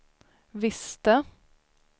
visste